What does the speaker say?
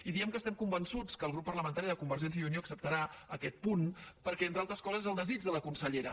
i diem que estem convençuts que el grup parlamentari de convergència i unió acceptarà aquest punt perquè entre altres coses és el desig de la consellera